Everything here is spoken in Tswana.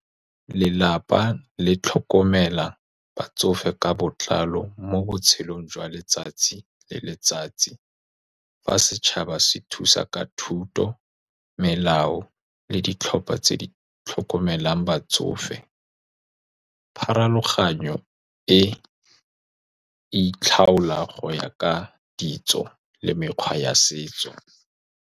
Lelapa le tlhokomela batsofe ka botlalo mo botshelong jwa letsatsi le letsatsi, fa setšhaba se thusa ka thuto, melao le ditlhopha tse di tlhokomelang batsofe. Pharologano e e itlhaola go ya ka ditso le mekgwa ya setso.